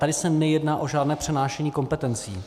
Tady se nejedná o žádné přenášení kompetencí.